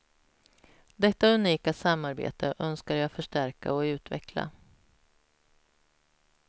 Detta unika samarbete önskar jag förstärka och utveckla.